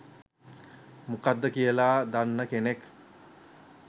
මොකක්ද කියල දන්න කෙනෙක්